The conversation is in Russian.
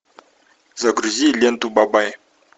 загрузи ленту бабай